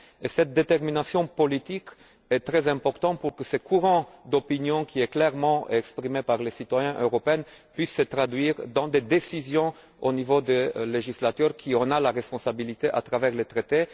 Cette détermination politique est très importante pour que ce courant d'opinion, très clairement exprimé par les citoyens européens, puisse se traduire dans des décisions au niveau du législateur, qui en a la responsabilité en vertu du traité.